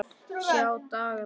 Sjá dagar koma